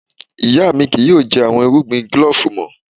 Iya mi kii yoo jẹ awọn irugbin glove mọ.